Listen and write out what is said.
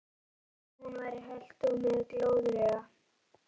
Þó hún væri hölt og með glóðarauga.